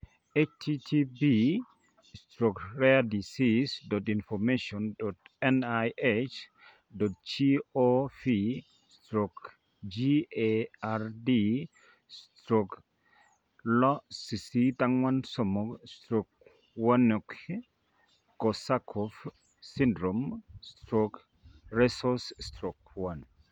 http://rarediseases.info.nih.gov/gard/6843/wernicke korsakoff syndrome/Resources/1